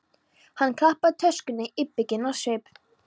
Hann klappaði töskunni íbygginn á svip.